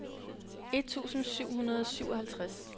et tusind syv hundrede og syvoghalvtreds